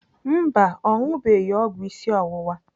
Mba, ọ ṅụbeghị ọgwụ isi ọwụwa.